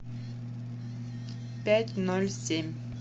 пять ноль семь